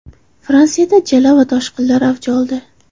Fransiyada jala va toshqinlar avj oldi.